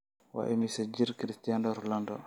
waa imisa jir cristiano ronaldo